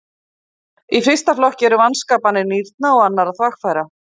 Í fyrsta flokki eru vanskapanir nýrna og annarra þvagfæra.